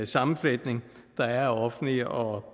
sammenfletning der er af offentlig og